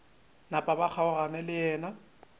napa ba kgaogana le yena